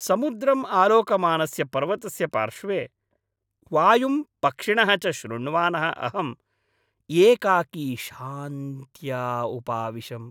समुद्रम् आलोकमानस्य पर्वतस्य पार्श्वे, वायुं पक्षिणः च शृण्वानः अहम् एकाकी शान्त्या उपाविशम्।